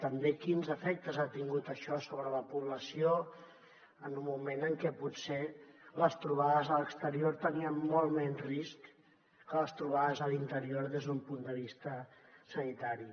també quins efectes ha tingut això sobre la població en un moment en què potser les trobades a l’exterior tenien molt menys risc que les trobades a l’interior des d’un punt de vista sanitari